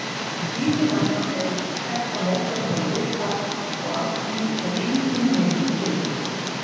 Lítið annað er um þetta mótorhjól vitað og af því er engin mynd til.